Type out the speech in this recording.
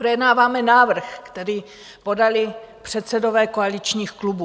Projednáváme návrh, který podali předsedové koaličních klubů.